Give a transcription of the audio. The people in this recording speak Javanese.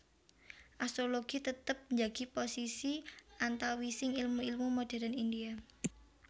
Astrologi tetep njagi posisi antawising ilmu ilmu modérn India